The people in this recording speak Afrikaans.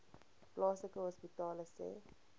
plaaslike hospitale sê